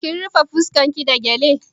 Kin rufe fuskan ki da gyale?